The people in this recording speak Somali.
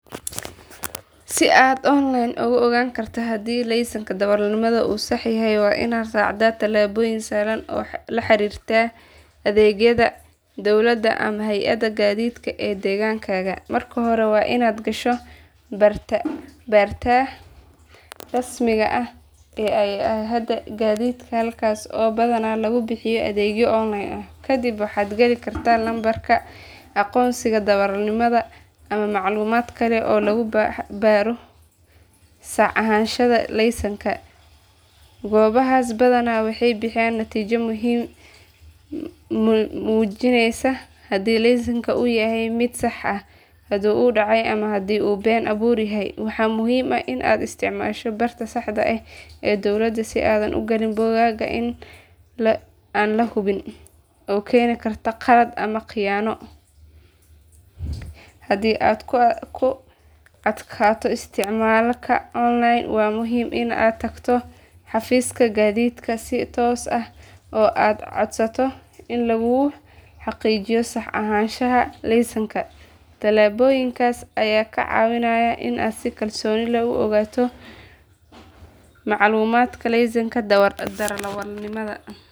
Si aad online ku ogaan karto haddii laysanka darawalnimada uu sax yahay waa inaad raacdaa tallaabooyin sahlan oo la xiriira adeegyada dowladda ama hay adda gaadiidka ee deegaankaaga. Marka hore waa inaad gashaa barta rasmiga ah ee hay adda gaadiidka halkaas oo badanaa lagu bixiyo adeegyo online ah. Kadib waxaad gali kartaa lambarka aqoonsiga darawalnimada ama macluumaad kale oo lagu baaro sax ahaanshaha laysanka. Goobahaas badanaa waxay bixiyaan natiijo muujinaysa haddii laysanka uu yahay mid sax ah, haddii uu dhacay, ama haddii uu been abuur yahay. Waxaa muhiim ah in aad isticmaasho barta saxda ah ee dowladda si aadan u galin bogag aan la hubin oo keeni kara khalad ama khiyaano. Haddii aad ku adkaato isticmaalka online waa muhiim in aad tagto xafiiska gaadiidka si toos ah oo aad codsato in laguu xaqiijiyo sax ahaanshaha laysanka. Tallaabooyinkaas ayaa kaa caawinaya inaad si kalsooni leh u ogaato macluumaadka laysanka darawalnimada.